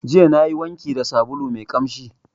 Jiya nayi wanki da sabulu mai ƙamshi.